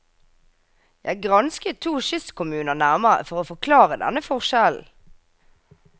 Jeg gransket to kystkommuner nærmere for å forklare denne forskjellen.